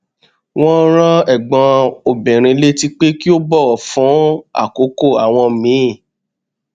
wọn rán ẹgbọn obìnrin létí pé kó bọwọ fún àkókò àwọn míì